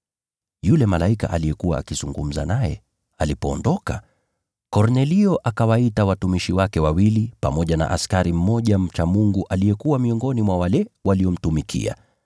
Yule malaika aliyekuwa akizungumza naye alipoondoka, Kornelio akawaita watumishi wake wawili pamoja na askari mmoja mcha Mungu aliyekuwa miongoni mwa wale waliomtumikia.